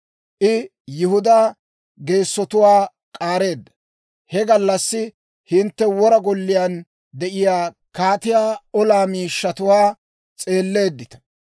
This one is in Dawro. I Yihudaa geessotuwaa k'aareedda. He gallassi hintte wora golliyaan de'iyaa kaatiyaa olaa miishshatuwaa s'eelleeddita.